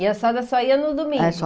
E a senhora só ia no domingo? É, só